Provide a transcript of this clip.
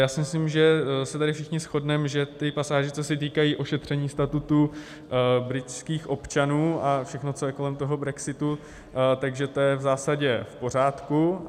Já si myslím, že se tady všichni shodneme, že ty pasáže, co se týkají ošetření statutu britských občanů, a všechno, co je kolem toho brexitu, že to je v zásadě v pořádku.